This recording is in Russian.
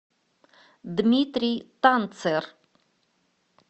дмитрий танцер